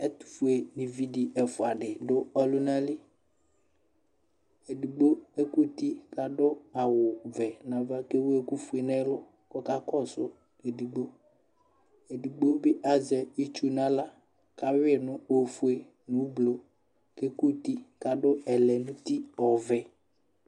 ɛtufue evidi efua di du ɔlunali edigbo ekuti ku adu awu vɛ na va ku ewu ɛku foe nɛ lu ku ɔkasu edigbo edigbo bi aʒɛ itʒu nu ala ka wui ofoe nu ublo ke kuti